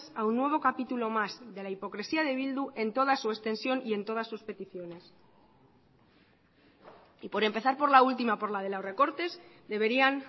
a un nuevo capítulo más de la hipocresía de bildu en toda su extensión y en todas sus peticiones y por empezar por la última por la de los recortes deberían